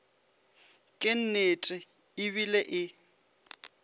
ke nnete e bile e